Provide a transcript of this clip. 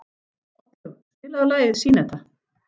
Oddlaug, spilaðu lagið „Syneta“.